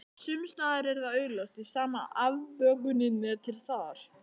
Sumsstaðar er það augljóst því sama afbökunin er til staðar.